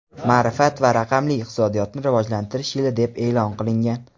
ma’rifat va raqamli iqtisodiyotni rivojlantirish yili deb e’lon qilingan.